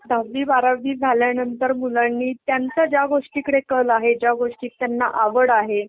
दहावी बारावी झाल्यानंतर मुलांनी त्यांचं ज्या गोष्टीकडे कल आहे ज्या गोष्टीत त्यांना आवड आहे